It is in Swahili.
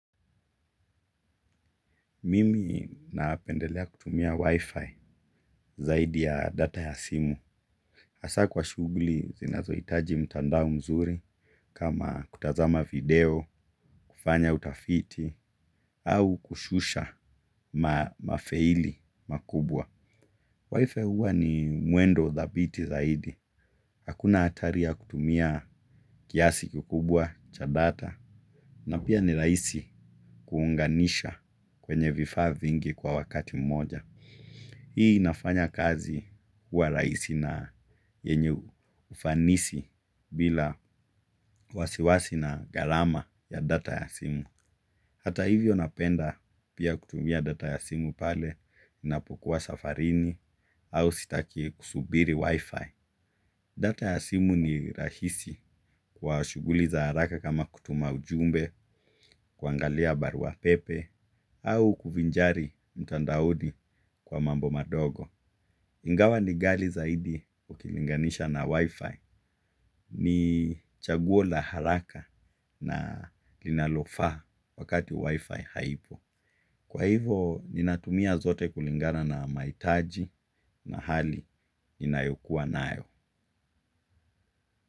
Mimi napendelea kutumia wi-fi zaidi ya data ya simu. Hasa kwa shughuli zinazo hitaji mtandao mzuri kama kutazama video kufanya utafiti au kushusha mafaili makubwa. Wifi huwa ni mwendo dhabiti. Hakuna hatari ya kutumia kiasi kikubwa cha data. Na pia ni rahisi kuunganisha kwenye vifaa hmvingi kwa wakati moja. Hii inafanya kazi kwa rahisi na yenye ufanisi bila wasiwasi na gharama ya data ya simu. Hata hivyo napenda pia kutumia data ya simu pale ninapokuwa safarini au sitaki kusubiri wifi. Data ya simu ni rahisi kwa shughuli za haraka kama kutuma ujumbe, kuangalia barua pepe au kuvinjari mtandaoni kwa mambo madogo. Ingawa ni ghali zaidi ukilinganisha na wifi. Ni chaguo la haraka na linalofaa wakati wifi haipo. Kwa hivo, ninatumia zote kulingana na mahitaji na hali inayokuwa nayo.